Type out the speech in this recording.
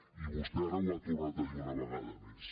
i vostè ara ho ha tornat a dir una vegada més